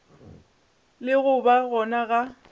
le go ba gona ga